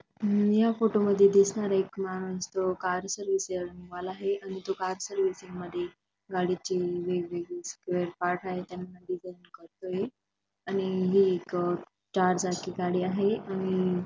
अह या फोटो मध्ये दिसणारा एक माणूस तो कार सर्विसिंग वाला हाये आणि तो का सर्विसिंग मध्ये गाडीचे वेगवेगळे स्पेअर पार्ट आहे त्यांना करतोय आणि हे एक चार चाकी गाडी आहे आणि --